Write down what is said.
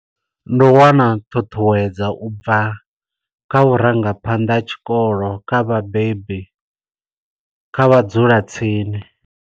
Ndi u wana ṱhuṱhuwedza ubva kha vhurangaphanḓa ha tshikolo, kha vhabebi, kha vhadzulatsini.